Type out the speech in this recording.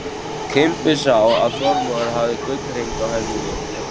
Kimbi sá að Þormóður hafði gullhring á hendi.